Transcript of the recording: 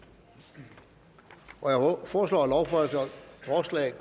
jeg foreslår at lovforslaget